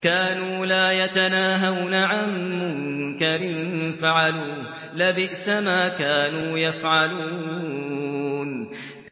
كَانُوا لَا يَتَنَاهَوْنَ عَن مُّنكَرٍ فَعَلُوهُ ۚ لَبِئْسَ مَا كَانُوا يَفْعَلُونَ